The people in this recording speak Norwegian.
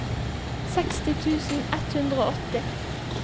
seksti tusen ett hundre og åtti